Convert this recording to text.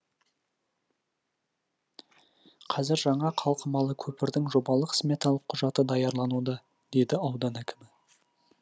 қазір жаңа қалқымалы көпірдің жобалық сметалық құжаты даярлануда деді аудан әкімі